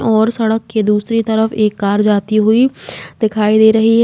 और सड़क की दूसरी तरफ एक कार जाती हुई दिखाई दे रही है।